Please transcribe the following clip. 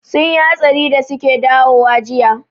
Sun yi hatsari da suke dawowa jiya